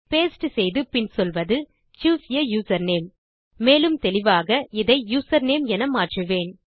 paste செய்து பின் சொல்வது சூஸ் ஆ யூசர்நேம் மேலும் தெளிவாக இதை யூசர்நேம் என மாற்றுவேன்